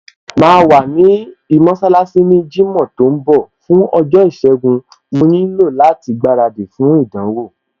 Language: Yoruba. Màá wá ní mọṣálásí ní jímọ̀ tó ń bọ̀, fún ọjọ́ ìṣẹgun, mo nílò láti gbaradì fún ìdánwò